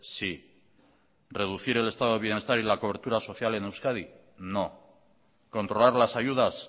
sí reducir el estado de bienestar y la cobertura social en euskadi no controlar las ayudas